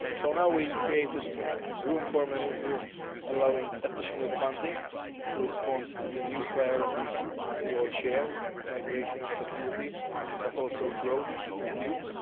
Now we have created room for manoeuvre allowing additional funding to respond to the new priorities we all share migration and security but also growth and youth.